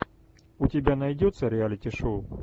у тебя найдется реалити шоу